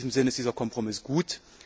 In diesem Sinn ist dieser Kompromiss gut.